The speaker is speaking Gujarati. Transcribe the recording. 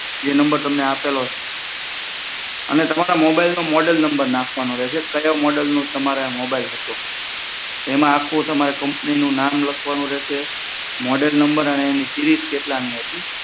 એ નંબર તમને આપેલો હશે અને તમારે mobile નો મોડેલ નંબર નાખવાનો રહેશે કયા મોડેલનો તમારે આ મોડેલ હતો એમાં આખું કમ્પનીનું નામ લખવાનું રહેશે મોડેલ નંબર અને સીરીઝ કેટલામી હતી